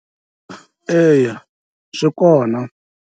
Eya, swikona.